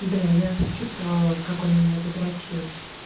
бля я же чувствовала как он меня задрочил